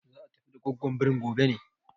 Za a tafi da gwaggwon birin gobe ne?